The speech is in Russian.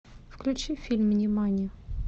включи фильм нимани